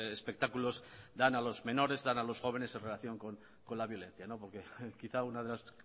espectáculos dan a los menores dan a los jóvenes en relación con la violencia porque quizá una de las